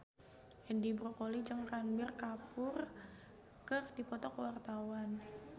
Edi Brokoli jeung Ranbir Kapoor keur dipoto ku wartawan